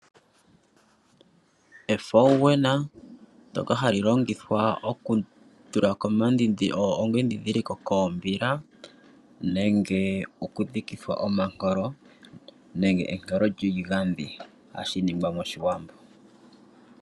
Efaunena ndyoka hali longithwa okutulako omadhidhiliko koombila nenge okudhikithwa omankolo nenge enroll lyiigadhi hashi ningwa moshiwambo.